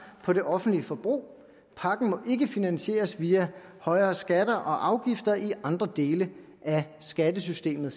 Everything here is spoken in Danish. på det offentlige forbrug pakken må ikke finansieres via højere skatter og afgifter i andre dele af skattesystemet